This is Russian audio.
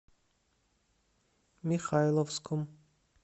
михайловском